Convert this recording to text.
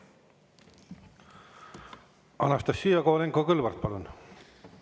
Anastassia Kovalenko-Kõlvart, palun!